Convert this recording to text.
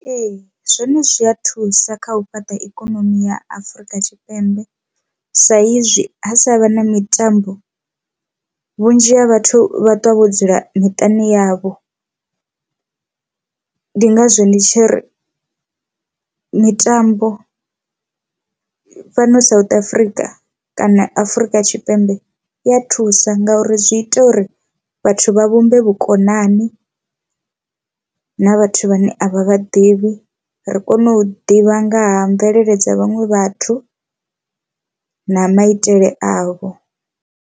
Ee, zwone zwi a thusa kha u fhaṱa ikonomi ya Afurika Tshipembe sa izwi ha sa vha na mitambo vhunzhi ha vhathu vha ṱwa vho dzula miṱani yavho. Ndi ngazwo ndi tshi ri mitambo fhano South Africa kana Afurika Tshipembe i ya thusa ngauri zwi ita uri vha vha vhumbe vhukonani na vhathu vhane a vha vha ḓivhi ri kone u ḓivha nga ha mvelele dza vhaṅwe vhathu na maitele avho.